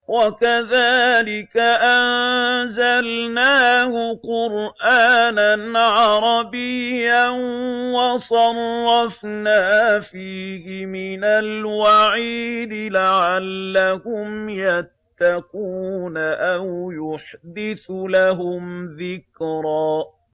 وَكَذَٰلِكَ أَنزَلْنَاهُ قُرْآنًا عَرَبِيًّا وَصَرَّفْنَا فِيهِ مِنَ الْوَعِيدِ لَعَلَّهُمْ يَتَّقُونَ أَوْ يُحْدِثُ لَهُمْ ذِكْرًا